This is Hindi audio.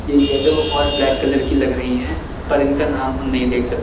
ये येलो और ब्लैक कलर की लग रही हैं पर इनका नाम हम नहीं देख सक--